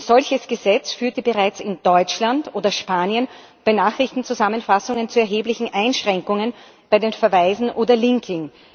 Ein solches Gesetz führte bereits in Deutschland oder Spanien bei Nachrichtenzusammenfassungen zu erheblichen Einschränkungen bei den Verweisen oder beim Linking